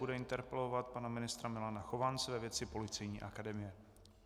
Bude interpelovat pana ministra Milana Chovance ve věci Policejní akademie.